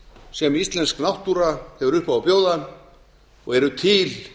sem íslensk náttúra hefur upp á að bjóða og eru til